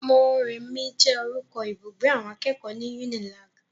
Mọ́remí jẹ́ orúkọ ibùgbé awọn akẹ́kọ̀ọ́ ní Unilag.